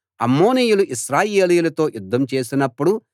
అమ్మోనీయులు ఇశ్రాయేలీయులతో యుద్ధం చేసినప్పుడు